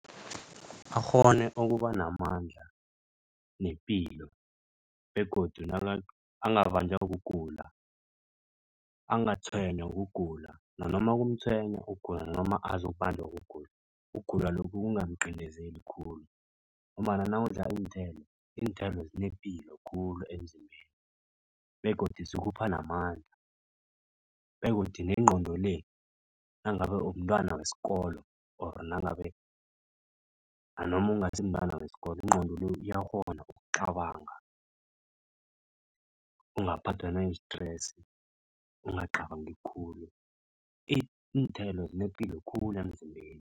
Akghone ukuba namandla nepilo begodu angabanjwa kugula. Angatshwenywa kugula nanoma kumtshwenya ukugula nanoma azokubanjwa kugula. Ukugula lokhu kungamqindezeli khulu ngombana nawudla iinthelo, iinthelo zinepilo khulu emzimbeni begodu zikupha namandla begodu nengqondo le nangabe umntwana wesikolo ori nangabe nanoma ungasimntwana wesikolo ingqondo le iyakghona ukucabanga. Ungaphathwa nayi-stress, ungacabangi khulu. Iinthelo zinepilo khulu emzimbeni.